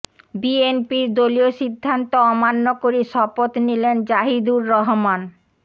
বিএনপির দলীয় সিদ্ধান্ত অমান্য করে শপথ নিলেন জাহিদুর রহমান